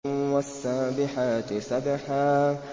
وَالسَّابِحَاتِ سَبْحًا